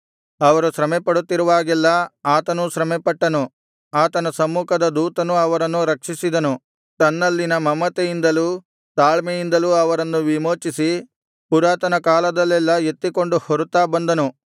ಅವರು ಶ್ರಮೆಪಡುತ್ತಿರುವಾಗೆಲ್ಲಾ ಆತನೂ ಶ್ರಮೆಪಟ್ಟನು ಆತನ ಸಮ್ಮುಖದ ದೂತನು ಅವರನ್ನು ರಕ್ಷಿಸಿದನು ತನ್ನಲ್ಲಿನ ಮಮತೆಯಿಂದಲೂ ತಾಳ್ಮೆಯಿಂದಲೂ ಅವರನ್ನು ವಿಮೋಚಿಸಿ ಪುರಾತನ ಕಾಲದಲ್ಲೆಲ್ಲಾ ಎತ್ತಿಕೊಂಡು ಹೊರುತ್ತಾ ಬಂದನು